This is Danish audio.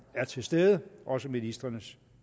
er til stede også ministrenes